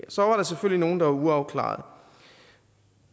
så var der selvfølgelig nogle der var uafklarede